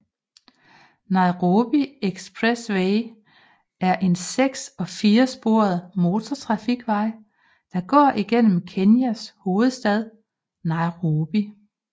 Nairobi Expressway er en seks og fire sporet motortrafikvej der går igennem Kenyas hovedstad Nairobi